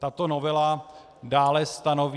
Tato novela dále stanoví...